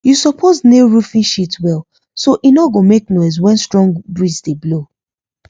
you suppose nail roofing sheet well so e no go make noise when strong breeze dey blow